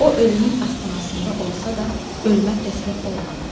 O ölümün astanasında olsa da, ölümə təslim olmadı.